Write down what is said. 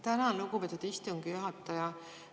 Tänan, lugupeetud istungi juhataja!